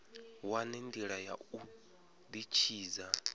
wane ndila ya u ditshidza